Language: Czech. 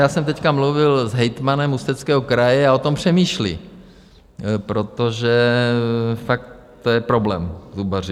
Já jsem teď mluvil s hejtmanem Ústeckého kraje a o tom přemýšlí, protože fakt to je problém, zubaři.